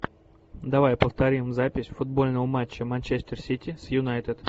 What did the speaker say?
давай повторим запись футбольного матча манчестер сити с юнайтед